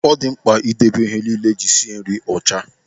Ọ dị mkpa ị debe ihe niile e ji esi nri ọcha.